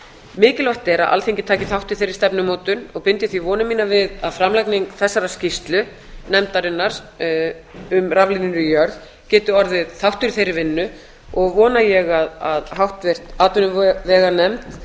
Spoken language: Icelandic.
mikilvægt er að alþingi taki þátt í þeirri stefnumótun og bind því vonir mínar við að framlagning þessarar skýrslu nefndarinnar um raflínur í jörð geti orðið þáttur í þeirri vinnu og vona ég að háttvirt atvinnuveganefnd